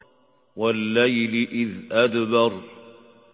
وَاللَّيْلِ إِذْ أَدْبَرَ